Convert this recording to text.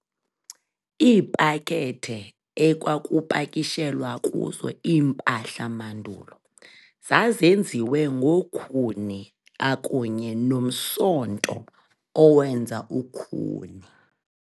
Iipakethe ekwakupakishelwa kuzo iimpahla mandulo zazenziwe ngo-khuni akunye no-msonto owenza ukhuni.